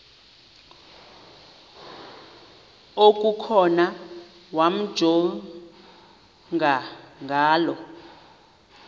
okukhona wamjongay ngaloo